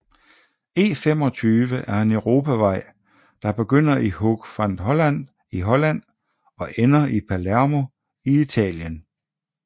E25 er en europavej der begynder i Hoek van Holland i Holland og ender i Palermo i Italien